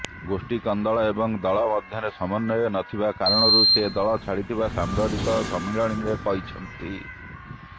ଗୋଷ୍ଠୀ କନ୍ଦଳ ଏବଂ ଦଳ ମଧ୍ୟରେ ସମନ୍ୱୟ ନଥିବା କାରଣରୁ ସେ ଦଳ ଛାଡିଥିବା ସାମ୍ବାଦିକ ସମ୍ମିଳନୀରେ କହିଛନ୍ତି